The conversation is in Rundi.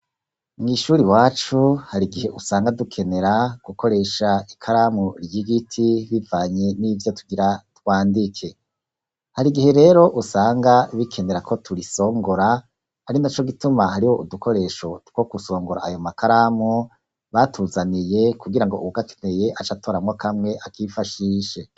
Mw'ishure iwacu hari igihe usanga dukenera gukoresha ikaramu ry'igiti bivanye n'ivyo tugira twandike. Hari igihe rero usanga bikenera ko turisongora, ari naco gituma hariho udukoresho two gusongora ayo makaramu batuzaniye kugirango uwugakeneye acatoramwo kamwe, akifashishe.